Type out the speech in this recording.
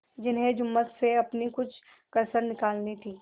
जिन्हें जुम्मन से अपनी कुछ कसर निकालनी थी